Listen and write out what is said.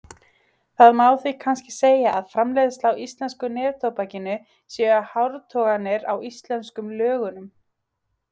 Það má því kannski segja að framleiðsla á íslenska neftóbakinu séu hártoganir á íslensku lögunum.